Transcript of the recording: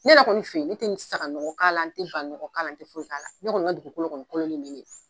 Ne yɛrɛ kɔni fɛ yen, ne tɛ n saga nɔgɔ kala, n tɛ ba nɔgɔ kala, n tɛ foyi kala n kɔni ka dugukolo kɔni